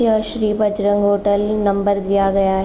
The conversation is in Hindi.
यह श्री बजरंग होटल नंबर दिया गया है।